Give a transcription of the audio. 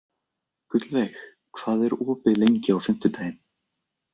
Gullveig, hvað er opið lengi á fimmtudaginn?